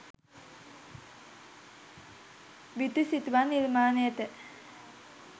බිතු සිතුවම් නිර්මාණයට